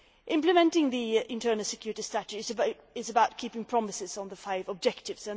Implementing the Internal Security Strategy is about keeping promises on the five objectives.